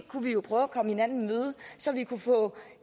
kunne vi jo prøve at komme hinanden i møde så vi kunne få